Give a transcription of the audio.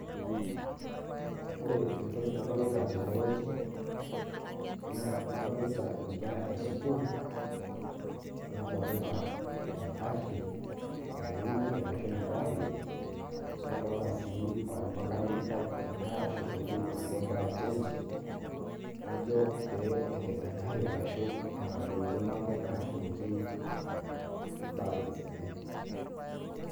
Ore entoki nadolita tenewueji, naa adolita inkera esukuul, nadolita egarri naewunye ashu nagira apoyie, nadolta si ormakanikai egira ashukoki inaduo chenji, ajo pee eked egarri arashu etadoutuo neeku kegira ashukoki balance enye.